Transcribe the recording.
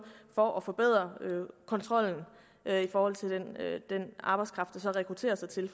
for at forbedre kontrollen i forhold til den arbejdskraft der rekrutteres hertil